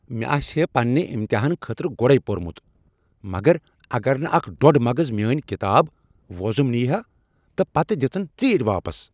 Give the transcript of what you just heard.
مےٚ آسہا پننہ امتحانہ خٲطرٕ گۄڈے پوٚرمت مگر اگر نہٕ اکھ ڈۄڈ مغٕز میٛٲنۍ کتاب وۄزم نیہ ہا تہٕ پتہٕ دژٕن ژیٖرۍ واپس۔